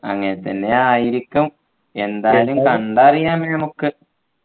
അങ്ങനെതന്നെ ആയിരിക്കും എന്തായാലും കണ്ടറിയാം നമുക്ക്